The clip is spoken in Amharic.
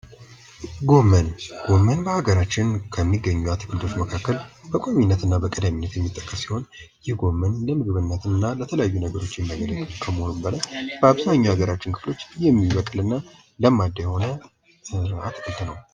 ጎመን ጎመን በሀገራችን ከሚገኙት አትክልቶች መካከል በቋሚነትና በቅድሚያ ሲሆን ይህ ጎመን ለምግብነት እና ለተለያዩ ነገሮች የሚያገለግል ሲሆን በአብዛኛው የአገራችን ክፍሎች የሚበቅልናል ለማዳ የሆነ አትክልት ነው።